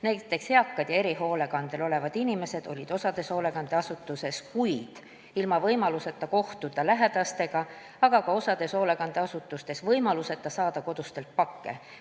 Näiteks, eakad ja erihoolekandel olevad inimesed olid osas hoolekandeasutustes kuid ilma võimaluseta kohtuda lähedastega, osas hoolekandeasutustes ka võimaluseta saada kodustelt pakke.